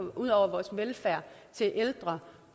ud over vores velfærd til ældre